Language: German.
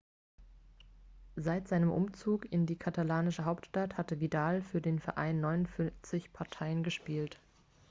seit seinem umzug in die katalanische hauptstadt hatte vidal für den verein 49 partien gespielt